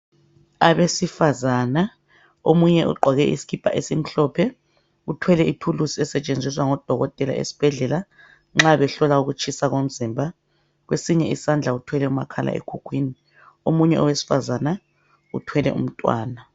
Abesifazana, omunye ugqoke isikipa esimhlophe. Uthwele ithulusi, esetshenziswa ngodokotela esibhedlela, nxa behlola ukutshisa komzimba. Kwesinye isandla, uthwele umakhalekhukhwini. Omunye owesifazana, uthwele umntwana.